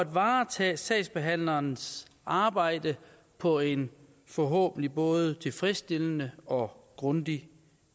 varetage sagsbehandlernes arbejde på en forhåbentlig både tilfredsstillende og grundig